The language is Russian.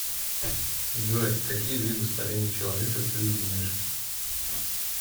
джой какие виды старение человека ты знаешь